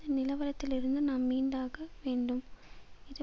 இந்த நிலவரத்திலிருந்து நாம் மீண்டாக வேண்டும் இது